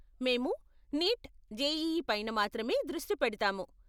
మేము NEET, JEE పైన మాత్రమే దృష్టి పెడతాము.